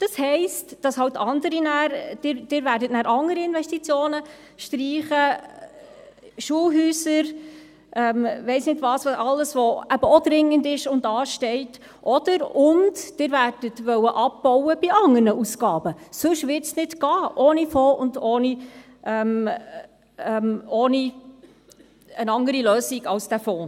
Das heisst, dass Sie dann andere Investitionen streichen werden: Schulhäuser, weiss nicht was; alles, was eben auch dringend ist und ansteht, oder/und Sie werden bei anderen Ausgaben abbauen wollen, sonst wird es nicht gehen ohne Fonds und ohne eine andere Lösung als dieser Fonds.